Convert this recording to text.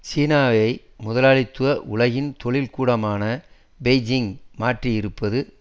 சீனாவை முதலாளித்துவ உலகின் தொழிற்கூடமான பெய்ஜிங் மாற்றியிருப்பது